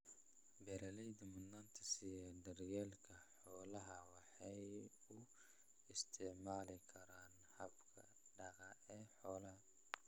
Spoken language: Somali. Beeralayda mudnaanta siiya daryeelka xoolaha waxay u isticmaali karaan hababka daaqa ee xoolaha.